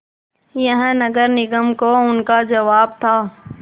यह नगर निगम को उनका जवाब था